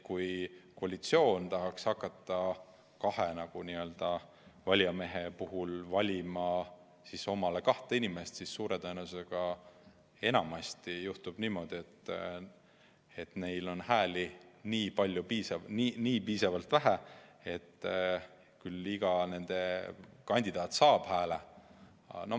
Kui koalitsioon tahaks hakata kahe valijamehe puhul valima kahte oma inimest, siis suure tõenäosusega juhtuks enamasti niimoodi, et neil on hääli just nii palju või just nii vähe, et iga nende kandidaat saab hääle, aga ...